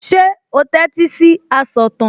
Ṣé o tẹ́tí sí asọ̀tàn?